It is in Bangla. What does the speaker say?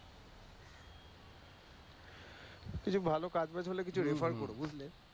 কিছু ভালো কাজ বাজ হলে কিছু refer করো বুঝলে।